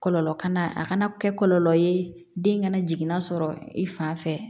Kɔlɔlɔ kana a kana kɛ kɔlɔlɔ ye den kana jigin na sɔrɔ i fan fɛ